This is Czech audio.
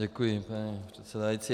Děkuji, paní předsedající.